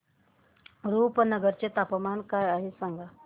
रुपनगर चे तापमान काय आहे सांगा